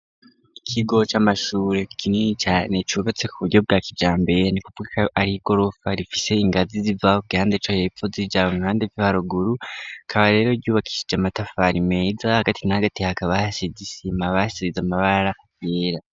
Ikigo c'amashure kinini cane cubatse ku buryo bwa kijambere ni ukuvuga ko ari igorofa rifise ingazi z'iva ku gihande co hepfo zija m'uruhande rwo haruguru rikaba rero ryubakishije amatafari meza hagati na hagati hakaba hasize isima basize amabara yera.